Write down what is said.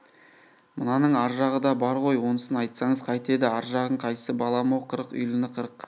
мынаның ар жағы да бар ғой онысын айтсаңыз қайтеді ар жағың қайсы балам-ау қырық үйліні қырық